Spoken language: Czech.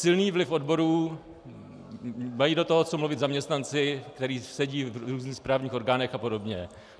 Silný vliv odborů, mají do toho co mluvit zaměstnanci, kteří sedí v různých správních orgánech a podobně.